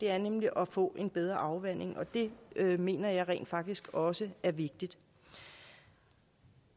er nemlig at få en bedre afvanding og det mener jeg rent faktisk også er vigtigt